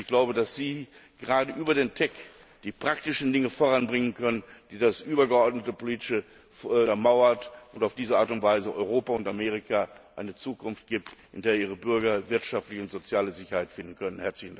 Ich glaube, dass Sie gerade über den TEC die praktischen Dinge voranbringen können, die das übergeordnete Politische untermauern und auf diese Art und Weise Europa und Amerika eine Zukunft geben, in der ihre Bürger wirtschaftliche und soziale Sicherheit finden können.